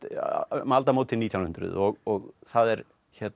um aldamótin nítján hundruð og það er